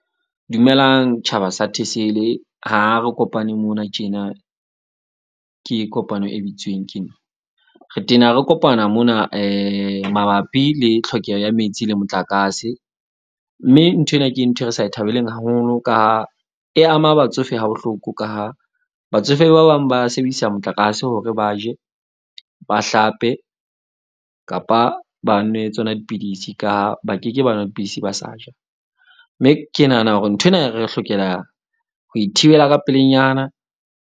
Dumelang tjhaba sa Thesele. Ha re kopane mona tjena, ke kopano e bitsweng ke nna. Re tena re kopana mona mabapi le tlhokeho ya metsi le motlakase. Mme nthwena ke nthwe re sa e thabeleng haholo ka ha e ama batsofe ha bohloko, ka ha batsofe ba bang ba sebedisa motlakase hore ba je, ba hlape kapa ba nwe tsona dipidisi, ka ba keke ba nwe dipidisi, ba sa ja. Mme ke nahana hore nthwena e re hlokela ho ithibela ka pelenyana.